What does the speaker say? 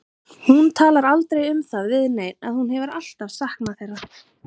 Hún talar aldrei um það við neinn að hún hefur alltaf saknað þeirra.